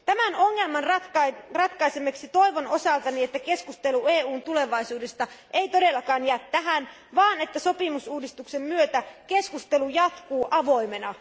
Tämän ongelman ratkaisemiseksi toivon osaltani, että keskustelu EUn tulevaisuudesta ei todellakaan jää tähän, vaan että sopimusuudistuksen myötä keskustelu jatkuu avoimena.